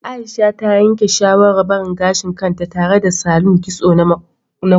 Aisha ta yanke shawarar barin gashin kanta tare da salon kitso na koroba